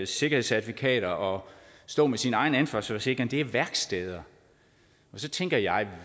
sikkerhedscertifikater og stå med sin egen ansvarsforsikring er værksteder værksteder tænker jeg